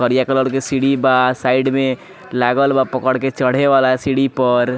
करिया कलर के सीढ़ी बा साइड में लागल बा पकड़ के चढ़े वाला सीढ़ी पर।